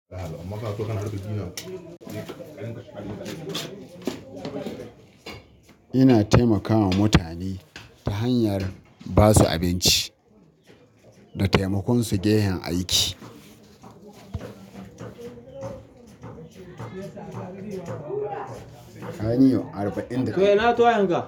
Ina taimakawa mutane ta hanyar ba su abinci da taimakon su gehen aiki. Kanyi arba'in da.